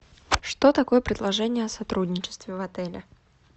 что такое предложение о сотрудничестве в отеле